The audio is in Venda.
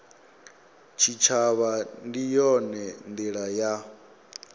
tshitshavha ndi yone ndila ya